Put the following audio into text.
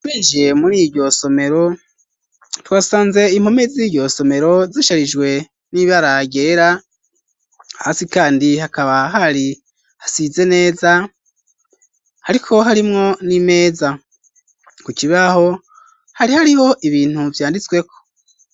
winjiye muriryo somero twasanze impome ziryo somero zisharijwe n'ibara ryera hasi kandi hakaba hari hasize neza hariko harimwo n'imeza ku kiraho hari hariho ibintu vyanditsweko.